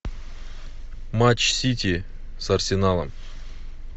матч сити с арсеналом